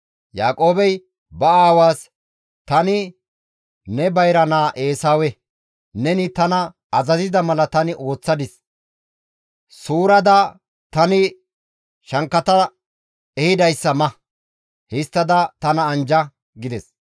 Yaaqoobey ba aawaas, «Tani ne bayra naa Eesawe; neni tana azazida mala tani ooththadis; suurada, tani shankkata ehidayssa ma; histtada tana anjja» gides.